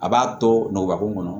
A b'a to nɔgɔkun kɔnɔ